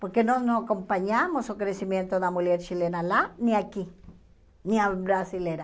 Porque nós não acompanhamos o crescimento da mulher chilena lá, nem aqui, nem a brasileira.